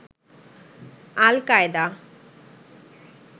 al-Qaeda